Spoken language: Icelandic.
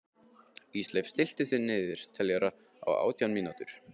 Ísleif, stilltu niðurteljara á átján mínútur.